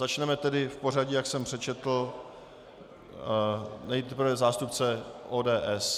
Začneme tedy v pořadí, jak jsem přečetl, nejprve zástupce ODS.